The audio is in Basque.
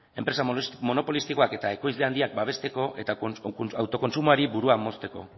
enpresa monopolistikoak eta ekoizle handiak babesteko eta autokontsumoari burua mozteko